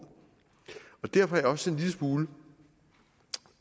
derfor er jeg også en lille smule